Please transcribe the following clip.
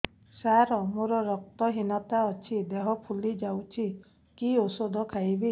ସାର ମୋର ରକ୍ତ ହିନତା ଅଛି ଦେହ ଫୁଲି ଯାଉଛି କି ଓଷଦ ଖାଇବି